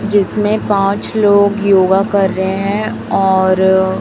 जिसमें पाच लोग योगा कर रहे है और--